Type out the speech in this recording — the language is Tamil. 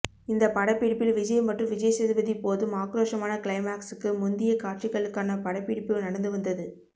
இந்த படப்பிடிப்பில் விஜய் மற்றும் விஜய்சேதுபதி போதும் ஆக்ரோஷமான கிளைமாக்ஸுக்கு முந்திய காட்சிகளுக்கான படப்பிடிப்பு நடந்து வந்தது